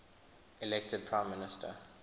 elected prime minister